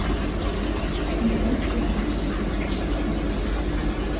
Hún gleymdi henni ekki.